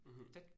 Mh